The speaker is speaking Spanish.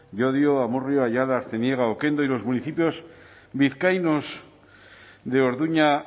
llodio amurrio ayala artziniega okendo y los municipios vizcaínos de orduña